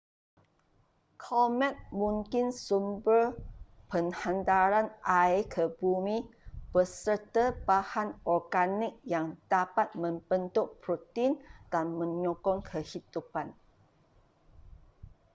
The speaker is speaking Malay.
komet mungkin sumber penghantaran air ke bumi beserta bahan organik yang dapat membentuk protein dan menyokong kehidupan